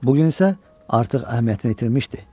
Bu gün isə artıq əhəmiyyətini itirmişdi.